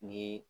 Ni